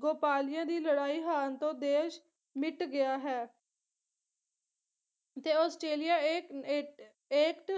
ਗੋਪਾਲੀਆ ਦੀ ਲੜਾਈ ਹਾਰਨ ਤੋਂ ਦੇਸ਼ ਮਿੱਟ ਗਿਆ ਹੈ ਤੇ ਆਸਟ੍ਰੇਲੀਆ ਇਹ ਏਟ eight